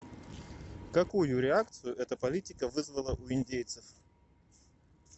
какую реакцию эта политика вызвала у индейцев